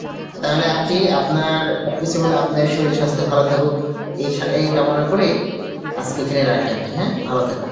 তাহলে aunty আপনার সবকিছু মিলে আপনার শরীল স্বাস্থ্য ভালো থাকুক এই সা~ এই কামনা করেই আজকে এখানে রাখি aunty হ্যাঁ, ভালো থাকেন